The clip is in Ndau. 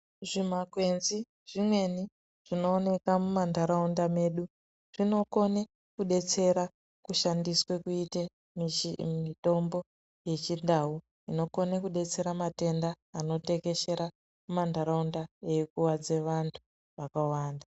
Zvimakwenzu zvimweni zvinoona mumandaraunda medu zvinokona kudetsera kushandiswa kuita mitombo yechindau inokona kudetsera matenda anotekeshera mumandaraunda eikuwadza vantu vakawanda.